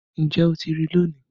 Níjẹ́ o tí rí lónì.